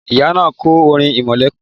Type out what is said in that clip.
Ìyá náà kọ́ orin irẹmọlẹ́kún